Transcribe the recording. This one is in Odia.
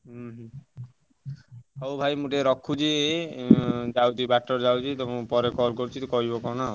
ହୁଁ ହୁଁ ହଉ ଭାଇ ମୁଁ ଟିକେ ରଖୁଛି, ଯାଉଛି ବାଟରେ ଯାଉଛି ତମକୁ ପରେ call କରୁଛି କହିବ କଣ ଆଉ।